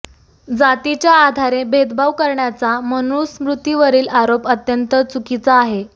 जातीच्या आधारे भेदभाव करण्याचा मनुस्मृतीवरील आरोप अत्यंत चुकीचा आहे